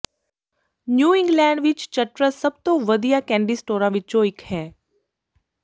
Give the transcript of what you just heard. new England ਵਿਚ Chutters ਸਭ ਤੋਂ ਵਧੀਆ ਕੈਂਡੀ ਸਟੋਰਾਂ ਵਿਚੋਂ ਇਕ ਹੈ